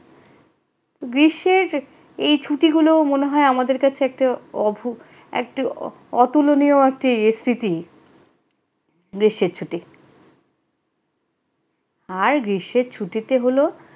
গ্রীষ্মের এই ছুটিগুলো মনে হয় আমাদের কাছে একটা অভুক একটি অতুলনীয় একটি স্মৃতি গ্রীষ্মের ছুটি আর গ্রীষ্মের ছুটিতে হল ।